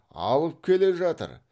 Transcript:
алып келе жатыр